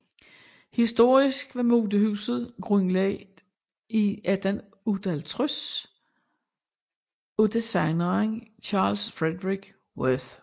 Historisk var modehuset grundlag ti 1858 af designeren Charles Frederick Worth